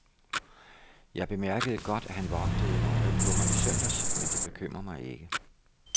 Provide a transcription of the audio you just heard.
Jeg bemærkede godt, at han vogtede nøje på mig i søndags, men det bekymrer mig ikke.